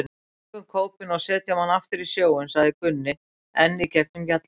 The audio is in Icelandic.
Við tökum kópinn og setjum hann aftur í sjóinn, sagði Gunni enn í gegnum gjallarhornið.